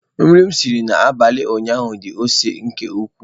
Nri m siri n'abalị ụnyaahụ di ose nke ukwuu.